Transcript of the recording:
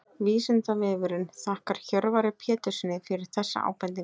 Vísindavefurinn þakkar Hjörvari Péturssyni fyrir þessa ábendingu.